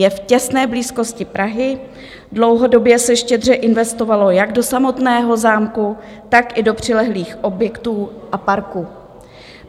Je v těsné blízkosti Prahy, dlouhodobě se štědře investovalo jak do samotného zámku, tak i do přilehlých objektů a parku.